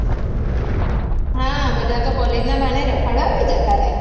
હા બધાં તો college બાને રખડવા બી જતાં રે છે